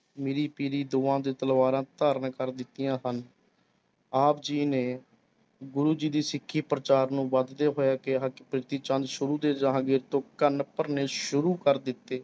ਮੀਰੀ ਪੀਰੀ ਦੋਹਾਂ ਦੇ ਤਲਵਾਰਾਂ ਧਾਰਨ ਕਰ ਦਿੱਤੀਆਂ ਸਨ ਆਪ ਜੀ ਨੇ ਗੁਰੂ ਜੀ ਦੀ ਸਿੱਖੀ ਪ੍ਰਚਾਰ ਨੂੰ ਵੱਧਦੇ ਹੋਇਆ ਕਿਹਾ ਕਿ ਪ੍ਰਿਥੀਚੰਦ ਸ਼ੁਰੂ ਦੇ ਜਹਾਂਗੀਰ ਤੋਂ ਕੰਨ ਭਰਨੇ ਸ਼ੁਰੁ ਕਰ ਦਿੱਤੇ।